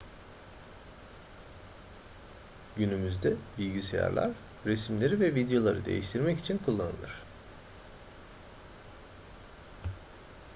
günümüzde bilgisayarlar resimleri ve videoları değiştirmek için kullanılır